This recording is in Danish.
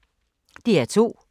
DR2